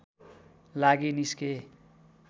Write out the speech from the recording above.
लागि निस्के